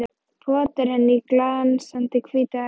Potar henni í glansandi hvíta hökuna.